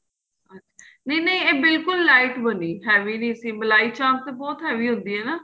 ਅੱਛਾ ਨਹੀਂ ਨਹੀਂ ਏਹ ਬਿਲਕੁਲ lite ਬਣੀ heavy ਨਹੀਂ ਸੀ ਮਲਾਈ ਚਾਂਪ ਤੇ ਬਹੁਤ heavy ਹੁੰਦੀ ਏ ਨਾ